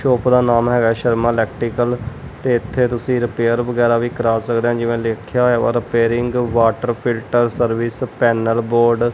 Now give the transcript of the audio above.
Shop ਦਾ ਨਾਮ ਹੈਗਾ ਸ਼ਰਮਾ ਇਲੈਕਟਰੀਕਲ ਤੇ ਇਥੇ ਤੁਸੀਂ ਰਿਪੇਅਰ ਵਗੈਰਾ ਵੀ ਕਰਾ ਸਕਦੇ ਹ ਜਿਵੇਂ ਲਿਖਿਆ ਹੋਇਆ repairing water filter service panel board.